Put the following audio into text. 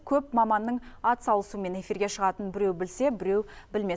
көп маманның атсалысуымен эфирге шығатынын біреу білсе біреу білмес